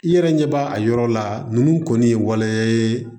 I yɛrɛ ɲɛ b'a a yɔrɔ la nunnu kɔni ye waleya ye